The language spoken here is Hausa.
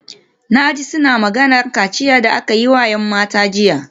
Na ji suna maganar kaciyar da aka yi wa ‘yan matan jiya